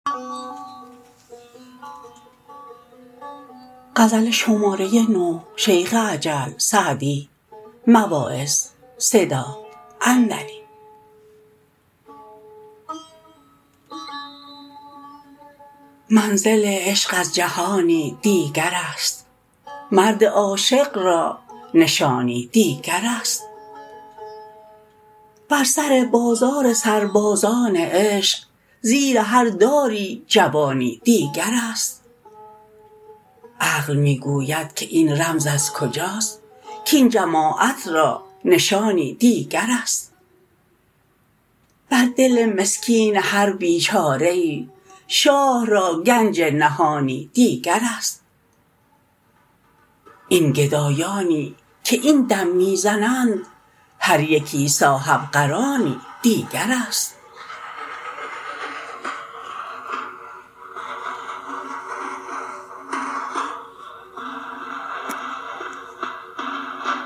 منزل عشق از جهانی دیگر است مرد عاشق را نشانی دیگر است بر سر بازار سربازان عشق زیر هر داری جوانی دیگر است عقل می گوید که این رمز از کجاست کاین جماعت را نشانی دیگر است بر دل مسکین هر بیچاره ای شاه را گنج نهانی دیگر است این گدایانی که این دم می زنند هر یکی صاحبقرانی دیگر است